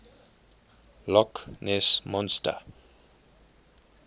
loch ness monster